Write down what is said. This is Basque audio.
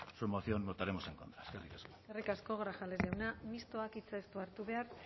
su moción votaremos en contra eskerrik asko eskerrik asko grajales jauna mistoak hitza ez du hartu behar